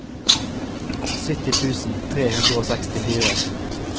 sytti tusen tre hundre og sekstifire